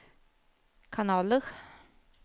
kanaler